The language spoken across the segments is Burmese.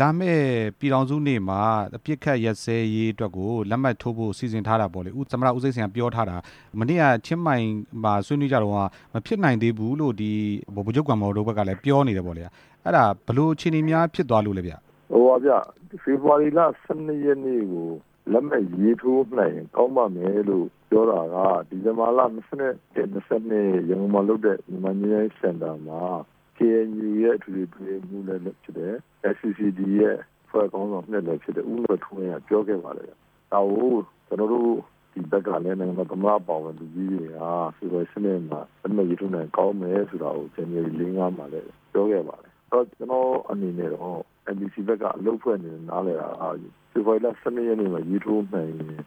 လာမယ့်ပြည်ထောင်စုနေ့မှာ အပစ်အခတ်ရပ်စဲရေးအတွက်ကို လက်မှတ်ထိုးဖို့ စီစဉ် ထားတာပေါ့လေ၊ အခုသမ္မတ ဦးသိန်းစိန်ကပြောထားတာ မနေ့ကချင်းမိုင်မှာ ဆွေးနွေးတုန်းက မဖြစ်နိုင်သေးဘူးလို့ ဗိုလ်ချုပ်ဂွမ်မော်တို့ကလည်း ပြောနေတယ်ပေါ့လေ၊ အဲ့ဒါဘယ်လိုအခြေအနေများ ဖြစ်သွားလို့လဲဗျ။ ဖေဖော်ဝါရီလ ၁၂ ရက်နေ့ကို လက်မှတ်ရေးထိုးနိုင်ရင် ကောင်းပ့ါမယ်လို့ပြောတာက ဒီဇင်ဘာလ ၂၁၊ ၂၂ ရန်ကုန်မှာလုပ်တဲ့ မြန်မာငြိမ်းချမ်းရေးစင်တာမှာ KNU ရဲ့ အထွေထွေအတွင်းရေးမှူးလည်းဖြစ်တယ် NCCT ရဲ့အဖွဲ့ခေါင်းဆောင် ၂ လည်းဖြစ်တဲ့ ဦးကွယ်ထူးဝင်းကလည်း ပြောခဲ့ပါတယ်၊ ဒါကို ကျနော်တို့ဘက်က သမ္မတအပါအဝင် လူကြီးတွေက ဖက်ဒရယ်စနစ်မှာ လက်မှတ်ရေးထိုးနိုင်မယ်ဆိုတာ ကောင်းမယ်ဆိုတာကို ဇန်နဝါရီ ၄ နေ့မှာလည်း ပြောခဲ့ပါတယ်၊ ကျနော်အနေနဲ့တော့ NCCT ဘက်ကအလုပ်အဖွဲ့အနေနဲ့ နားလည်တာက ဖေဖော်ဝါရီလ ၁၂ ရက်နေ့ကို ရေးထိုးနိုင်ရင်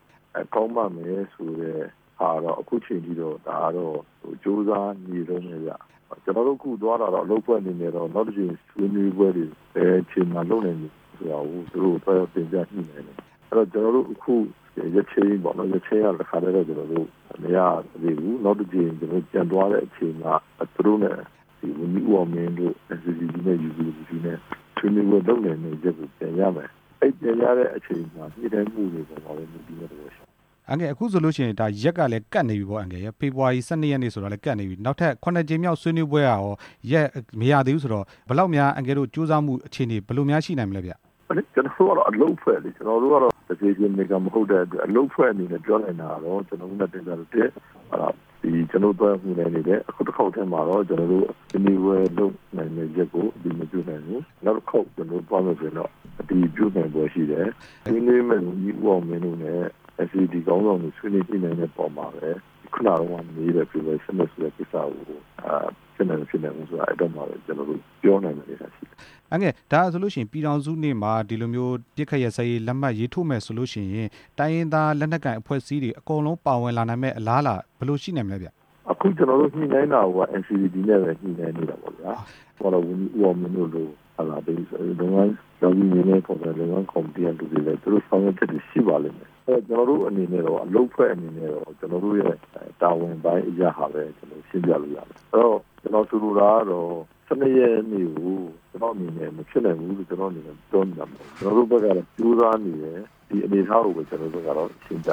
ကောင်းပါ့မယ်ဆိုတဲ့ဟာတော့ အခုအချိန်ထိဒါကတော့ ကြိုးစားနေတုန်းပဲဗျ၊ ကျနော်တို့ အခုသွားတာကတော့ အလုပ်အဖွဲ့အနေနဲ့တော့ နောက်တစ်ကြိမ်ဆွေးနွေးပွဲတွေ ဘယ်အချိန်မှာ လုပ်နိုင်ပြီဆိုတာကို သူတို့ကိုသွားရောက်တင်ပြ ညှိနှိုင်းတာပါ၊ အဲ့ဒီတော့ ကျနော်တို့ အခုရက်ချိန်းပေါ့နော်၊ ရက်ချိန်းကတော့ ကျနော်တို့ တစ်ခါတည်းမရသေးဘူး၊ နောက်တစ်ကြိမ် ကျနော်တို့ မရသေးဘူး၊ နောက်တစ်ကြိမ် ကျနော်တို့ ပြန်သွားတဲ့အချိန်မှာ သူတို့နဲ့ သီးအောင်မင်းတို့ UPWC နဲ့ NCCT ဆွေးနွေးပွဲနိုင်ဖို့အတွက်ကို တင်ပြမယ်၊ အဲ့တင်ပြတဲ့အချိန်မှာ ညှိနှိုင်းမှုတွေအပေါ်မှာလည်း ယုံကြည်မှုရှိတယ်။ အန်ကယ်လ် အခုဆိုလို့ရှိရင် ရက်ကလည်းကပ်နေတာပေါ့ အန်ကယ်လ်ရယ်၊ ဖေဖော်ဝါရီ ၁၂ နေ့ဆိုလည်းကပ်နေပြီ နောက်ထပ် ၇ ကြိမ်မြောက် ဆွေးနွေးပွဲကရော ရက်မရသေးဘူးဆိုတော့ ဘယ်လောက်များ အန်ကယ်လ်တို့ ကြိုးစားမှုအခြေအနေ ဘယ်လိုများရှိနိုင်မလဲဗျ။ ကျနော်တို့ကတော့ အလုပ်ပဲလေ၊ ကျနော်တို့ကတော့ အလုပ်အဖွဲ့အနေနဲ့ ပြောနိုင်တာ ကတော့ ကျနော်တို့ အခုတစ်ခေါက်တည်းမှာတော့ ဆွေးနွေးပွဲလုပ်နိုင်မယ့်ရက်ကို အတည်မပြုနိုင်ဘူး၊ နောက် တစ်ခေါက် ကျနော်တို့ သွားမယ်ဆိုရင်တော့ အတည်ပြုနိုင်ဖို့ရှိတယ်၊ ဝန်ကြီးဦးအောင်မင်းတို့နဲ့ NCCT ခေါင်းဆောင်တွေ ဆွေးနွေးတဲ့အပေါ်မှာပဲ ခုနကမေးတဲ့အဖြေနဲ့ ခုနကပြောတဲ့ကိစ္စကို ဖြစ်နိုင်မဖြစ်နိုင်ဘူး ဆိုတာကို အဲ့ဒီတော့မှ ကျနော်တို့ ပြောနိုင်မယ့်ကိစ္စရှိတယ်။ အန်ကယ်လ် ဒါဆိုလို့ရှိရင် ပြည်ထောင်စုနေ့မှာ အပစ်အခတ်ရပ်စဲရေး လက်မှတ်ရေးထိုးနိုင် မယ်ဆိုလို့ရှိရင် တိုင်းရင်းသားလက်နက်ကိုင်အကုန်လုံး ပါဝင်လာနိုင်မယ့် အလားအလာ ဘယ်လိုရှိနိုင်မလဲဗျ။ အခု ကျနော်တို့ ညှိနှိုင်းတာကိုက NCCT နဲ့ပဲညှိနှိုင်းသေးတာပေါ့ဗျာ၊ ဝန်ကြီး ဦးအောင်မင်း တို့လို လုပ်ငန်းကော်မတီကလူတွေနဲ့ သူတို့ဆောင်ရွက်ချက်တွေရှိပါလိမ့်မယ်၊ အဲ့ဒီတော့ ကျနော်တို့အနေနဲ့တော့ အလုပ်အဖွဲ့အနေနဲ့တော့ ကျနော်တို့ရဲ့ တာဝန်ပိုင်းအရဟာလည်း ရှင်းပြလို့ရတယ်၊ အဲ့ဒီတော့ ကျနော်ဆိုလိုတာကတော့ ၁၂ ရက်နေ့ကို ကျနော့အမြင်နဲ့ ကျနော့အနေနဲ့ ပြေမိတာမဟုတ်ဘူး၊ ကျနော်တို့ဘက်ကလည်း ကြိုးစားနေတယ်၊ ဒီအနေအထားကိုတော့ ကျနော်တို့ကတော့ တင်ပြ